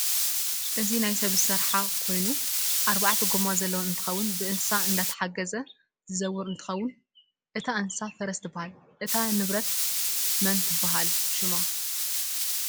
እዚ ናይ ሰብ ዝርሓ ኮይኑ ኣርባዕተ ጎማ ዘለዋ እንትትከውን ብእንስሳ እዳተሓገዘ ዝዝወር እንትኮን እታ እንስሳ ፈረስ ትበሃል እታ ንብረት መን ትባሃል ሽማ ?